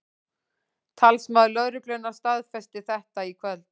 Talsmaður lögreglunnar staðfesti þetta í kvöld